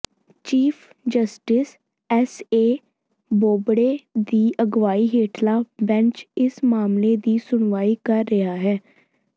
chief justice S A Bobde ਦੀ ਅਗਵਾਈ ਹੇਠਲਾ ਬੈਂਚ ਇਸ ਮਾਮਲੇ ਦੀ ਸੁਣਵਾਈ ਕਰ ਰਿਹਾ ਹੈ